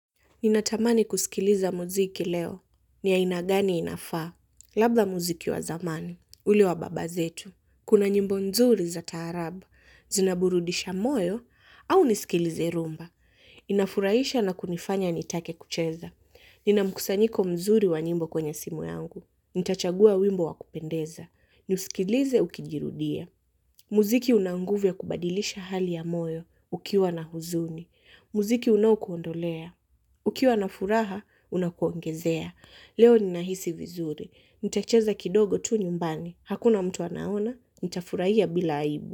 Ninatamani kusikiliza muziki leo, ni aina gani inafaa. Labda muziki wa zamani, ule wa baba zetu. Kuna nyimbo nzuri za taarabu, zinaburudisha moyo, au niskilize rumba. Inafurahisha na kunifanya nitake kucheza. Nina mkusanyiko mzuri wa nyimbo kwenye simu yangu. Nitachagua wimbo wa kupendeza. Nisikilize ukijirudia. Muziki una nguvu ya kubadilisha hali ya moyo, ukiwa na huzuni. Muziki unaokuondolea. Ukiwa na furaha, unakuongezea. Leo nina hisi vizuri. Nitacheza kidogo tu nyumbani. Hakuna mtu anaona, nita furahia bila aibu.